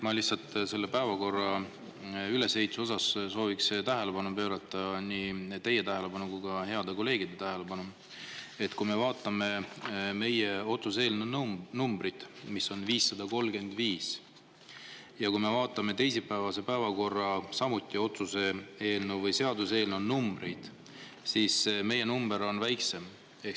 Ma lihtsalt selle päevakorra ülesehituse koha pealt sooviksin nii teie kui ka heade kolleegide tähelepanu juhtida sellele, et kui me vaatame meie otsuse eelnõu numbrit, mis on 535, ja kui me vaatame teisipäevase päevakorra eelnõude numbreid, siis on näha, et meie eelnõu number on väiksem.